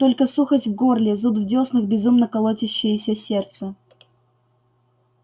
только сухость в горле зуд в дёснах безумно колотящееся сердце